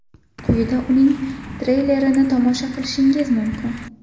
Quyida uning treylerini tomosha qilishingiz mumkin.